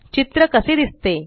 चित्र कसे दिसते